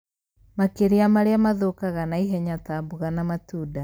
makĩria marĩa mathũkaga naihenya ta mboga na matunda.